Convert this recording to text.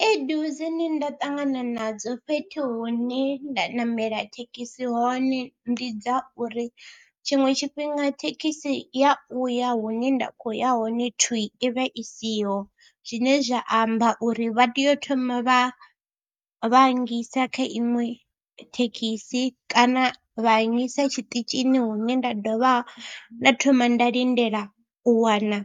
Khaedu dzine nda ṱangana nadzo fhethu hune nda namela thekhisi hone ndi dza uri tshiṅwe tshifhinga thekhisi ya u ya hune nda khou ya hone twii, i vha i siho zwine zwa amba uri vha tea u thoma vha vha nngisa kha iṅwe thekhisi kana vha nnyisa tshiṱitshini hune nda dovha nda thoma nda lindela u wana